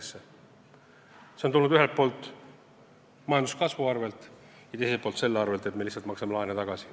See vähenemine on tulnud ühelt poolt majanduskasvu arvel ja teiselt poolt selle arvel, et me lihtsalt maksame laene tagasi.